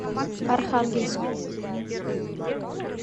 архангельску